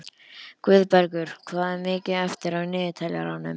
Guðbergur, hvað er mikið eftir af niðurteljaranum?